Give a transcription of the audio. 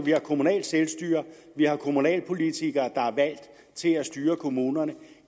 har kommunalt selvstyre vi har kommunalpolitikere der er valgt til at styre kommunerne